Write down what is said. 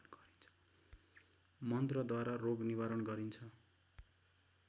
मन्त्रद्वारा रोग निवारण गरिन्छ